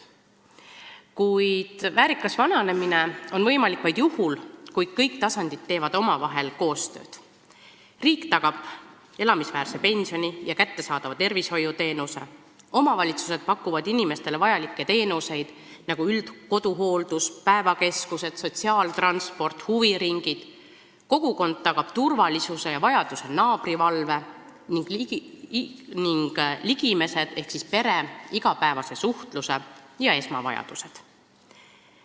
Kuid väärikas vananemine on võimalik vaid juhul, kui kõik tasandid teevad omavahel koostööd – riik tagab elamisväärse pensioni ja kättesaadava tervishoiuteenuse, omavalitsused pakuvad inimestele vajalikke teenuseid, nagu üldkoduhooldus, päevakeskused, sotsiaaltransport, huviringid, kogukond tagab turvalisuse ja vajaduse korral naabrivalve ning ligimesed ehk pere igapäevase suhtluse ja esmavajadused.